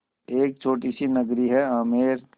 एक छोटी सी नगरी है आमेर